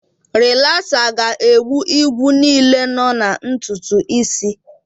Rilasa ga-egbu igwu niile nọ na ntutu isi.